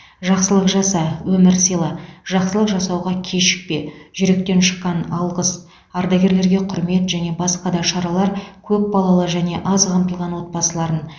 жақсылық жаса өмір сыйла жақсылық жасауға кешікпе жүректен шыққан алғыс ардагерлерге құрмет және басқа да шаралар көпбалалы және аз қамтылған отбасыларын